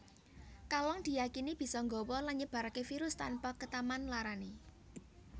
Kalong diyakini bisa nggawa lan nyebaraké virus tanpa ketaman larané